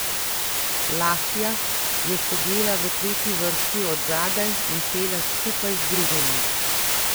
Lahja je sedela v tretji vrsti od zadaj in pela skupaj z drugimi.